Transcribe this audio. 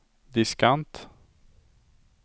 diskant